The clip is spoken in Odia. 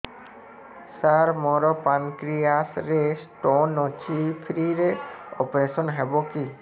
ସାର ମୋର ପାନକ୍ରିଆସ ରେ ସ୍ଟୋନ ଅଛି ଫ୍ରି ରେ ଅପେରସନ ହେବ କି